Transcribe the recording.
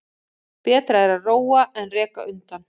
Betra er að róa en reka undan.